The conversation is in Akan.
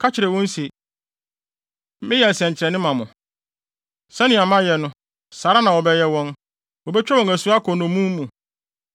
Ka kyerɛ wɔn se, ‘Meyɛ nsɛnkyerɛnne ma mo.’ “Sɛnea mayɛ no, saa ara na wɔbɛyɛ wɔn. Wobetwa wɔn asu akɔ nnommum mu.